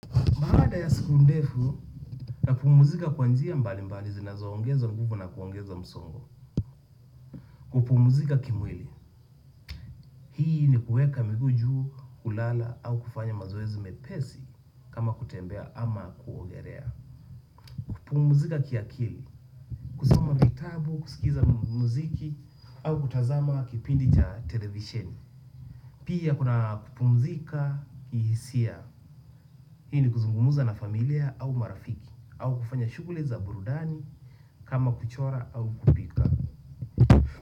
Baada ya siku ndefu, napumzika kwa njia mbali mbali zinazoongeza nguvu na kuongeza msongo. Kupumuzika kimwili. Hii ni kueka miguu juu, kulala au kufanya mazoezi mepesi kama kutembea ama kuogelea. Kupumuzika kiakili. Kuzama vitabu, kuskiza muziki au kutazama kipindi cha televisheni. Pia kuna kupumzika kihisia. Hii ni kuzungumuza na familia au marafiki. Au kufanya shuguli za burudani kama kuchora au kupika.